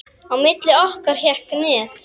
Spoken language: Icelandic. Á milli okkar hékk net.